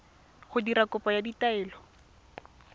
go dira kopo ya taelo